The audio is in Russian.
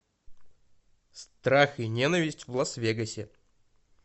страх и ненависть в лас вегасе